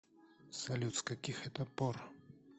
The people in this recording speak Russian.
салют с каких это пор